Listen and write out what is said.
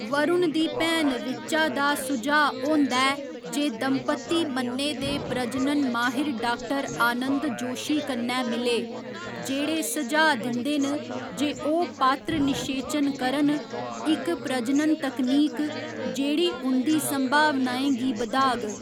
वरुण दी भैन ऋचा दा सुझाऽ होंदा ऐ जे दंपति मन्ने दे प्रजनन माहिर डाक्टर आनंद जोशी कन्नै मिले, जेह्ड़े सुझाऽ दिंदे न जे ओह् पात्र निशेचन करन, इक प्रजनन तकनीक जेह्ड़ी उं'दी संभावनाएँ गी बधाग।